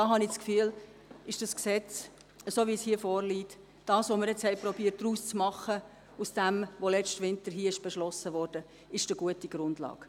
Ich habe das Gefühl, das vorliegende Gesetz, bei dem wir versucht haben umzusetzen, was letzten Winter hier beschlossen wurde, sei eine gute Grundlage.